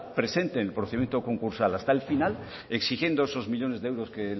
presente en el procedimiento concursal hasta el final exigiendo esos millónes de euros